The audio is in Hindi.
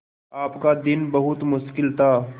आपका दिन बहुत मुश्किल था